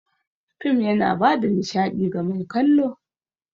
Fim yana bada nishaɗi ga mai kallo.